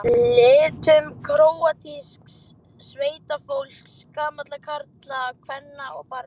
litum króatísks sveitafólks, gamalla karla, kvenna og barna.